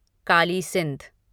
Kali Sindh